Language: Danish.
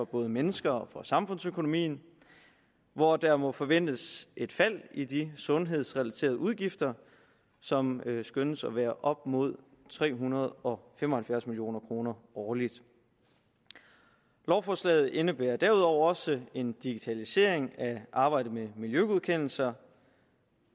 både mennesker og på samfundsøkonomien hvor der må forventes at et fald i de sundhedsrelaterede udgifter som skønnes at være på op imod tre hundrede og fem og halvfjerds million kroner årligt lovforslaget indebærer derudover også en digitalisering af arbejdet med miljøgodkendelser